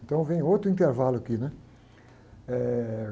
Então, vem outro intervalo aqui, né? Eh...